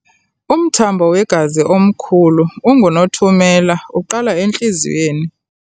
Umthambo wegazi omkhulu ongunothumela uqala entliziyweni.